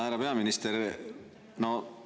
Härra peaminister!